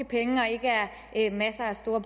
penge og ikke er masser af